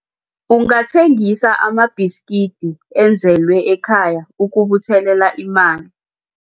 Ungathengisa amabhiskidi enzelwe ekhaya ukubuthelela imali.